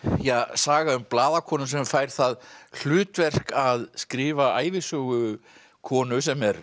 saga um blaðakonu sem fær það hlutverk að skrifa ævisögu konu sem er